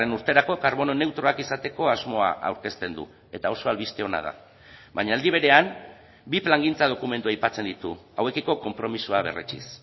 urterako karbono neutroak izateko asmoa aurkezten du eta oso albiste ona da baina aldi berean bi plangintza dokumentu aipatzen ditu hauekiko konpromisoa berretsiz